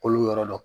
Kolo yɔrɔ dɔ